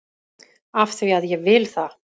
AF ÞVÍ AÐ ÉG VIL ÞAÐ!